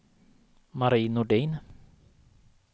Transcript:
Marie Nordin